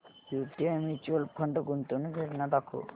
UTI mutual fund गुंतवणूक योजना दाखव